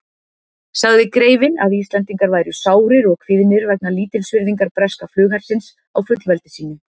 Sagði greifinn, að Íslendingar væru sárir og kvíðnir vegna lítilsvirðingar breska flughersins á fullveldi sínu.